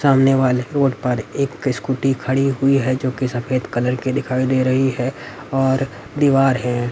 सामने वाले रोड पर एक स्कूटी खड़ी हुई है जो की सफेद कलर के दिखाई दे रही है और दीवार है।